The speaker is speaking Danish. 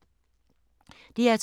DR2